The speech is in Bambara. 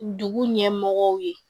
Dugu ɲɛmɔgɔw ye